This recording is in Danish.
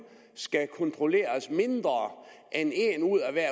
skal kontrolleres mindre end en ud af hver